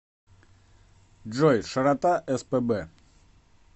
джой широта спб